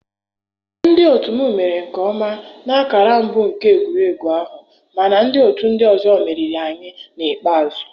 Ndị otu m mere nke ọma na ọkara mbụ nke egwuregwu ahụ, mana ndị otu ndị ọzọ meriri anyị n'ikpeazụ.